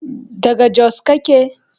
daga Jos kake?